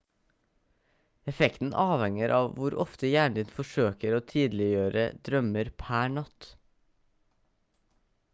effekten avhenger av hvor ofte hjernen din forsøker å tydeliggjøre drømmer per natt